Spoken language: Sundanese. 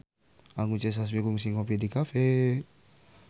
Anggun C. Sasmi kungsi ngopi di cafe